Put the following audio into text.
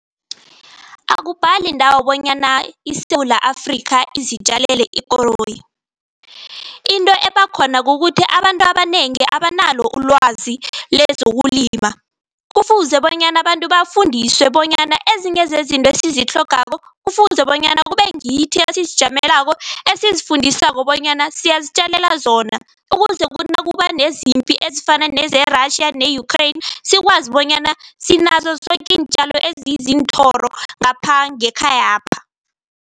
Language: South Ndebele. Akubhali ndawo bonyana iSewula Afrika izitjalele ikoroyi. Into ebakhona kukuthi abantu abanengi abanalo ulwazi lezokulima. Kufuze bonyana abantu bafundiswe bonyana ezinye zezinto esizitlhogako, kufuze bonyana kube ngithi esizijamelako esizifundisako bonyana siyazitjalela zona. Ukuze kuthi nakuba nezimpi ezifana ne-Russia ne-Ukriane sikwazi bonyana sinazo zoke iintjalo ezizinthoro ngapha ngekhayapha.